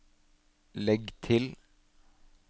legg til